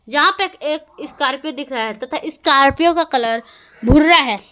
यहां पे एक स्कॉर्पियो दिख रहा है तथा स्कॉर्पियो का कलर भूरा है।